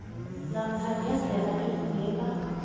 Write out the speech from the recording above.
namkha ngendlela efundeka